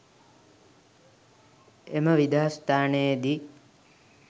එම විදාස්ථානයේදී